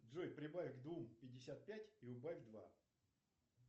джой прибавь к двум пятьдесят пять и убавь два